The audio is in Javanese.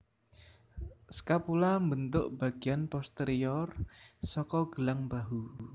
Scapula mbentuk bagéan posterior saka gelang bahu